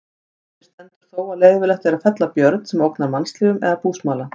Eftir stendur þó að leyfilegt er að fella björn sem ógnar mannslífum eða búsmala.